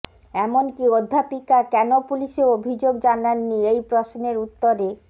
এমনকী অধ্যাপিকা কেন পুলিসে অভিযোগ জানাননি এই প্রশ্নের উত্তরে